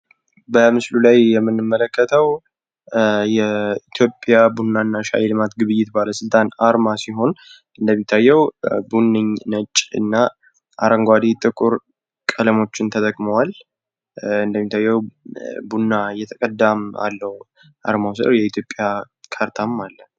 በምስሉ ላይ የምንመለከተው የኢትዮጵያ ቡናና ሻይ ልማት ግብይት ባለስልጣን አርማ ሲሆን ፤ እንደሚታየው ቡኒኝ፣ ነጭ እና አረንጓዴ ጥቁር ቀለሞችን ተጠቅመዋል ፤ እንደሚታየው ቡና እየተቀዳም አለው አርማዉ ፤ የኢትዮጵያ ካርታም አለ።